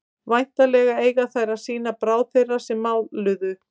væntanlega eiga þær að sýna bráð þeirra sem máluðu